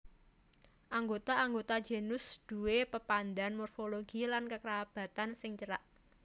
Anggota anggota genus duwé pepadhan morfologi lan kekerabatan sing cerak